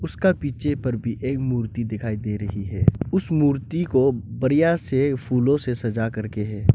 उसका पीछे पर भी एक मूर्ति दिखाई दे रही है उस मूर्ति को बढ़िया से फूलों से सजाकर के है।